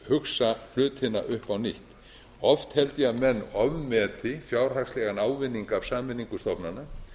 hugsa hlutina upp á nýtt oft held ég að menn ofmeti fjárhagslegan ávinning af sameiningu stofnana